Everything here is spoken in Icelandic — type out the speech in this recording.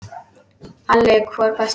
Halli hor hvæsti hann.